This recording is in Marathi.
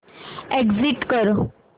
एग्झिट कर